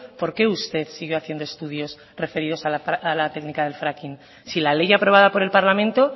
por qué usted sigue haciendo estudios referidos a la técnica del fracking si la ley aprobada por el parlamento